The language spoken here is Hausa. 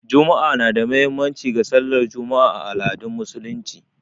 Juma'a na da muhimmanci ga sallar Juma'a a al'adun Musulunci